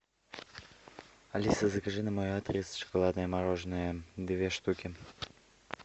алиса закажи на мой адрес шоколадное мороженое две штуки